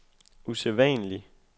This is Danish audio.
usædvanlig